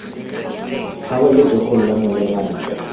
fa letsogong la molema ntle